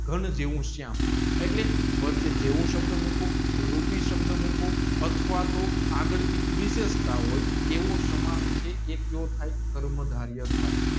ઘન જેવું શ્યામ એટલે વચ્ચે જેવું સબધ મૂકું રૂપી સબધ મૂકું આથવા તો આગળ કંઈક વિષેશતા હોય એવું સમર્થ જે કર્મ ધારી